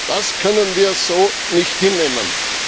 Das können wir so nicht hinnehmen.